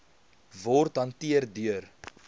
word hanteer deur